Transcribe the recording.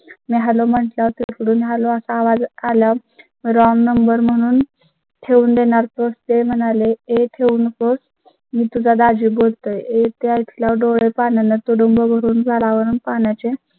मी hello म्हणतात इकडून आलो असा आवाज आला. wrong number म्हणून ठेवून देणार प्रोस् ते म्हणाले, हे ठेवू नकोस मी तुला दाजी बोलत आहे त्याच्या डोळे पाण्याने तुडूंब भरून झाडावरून पाण्याचे